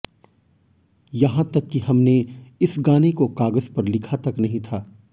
यहां तक कि हमने इस गाने को कागज पर लिखा तक नहीं था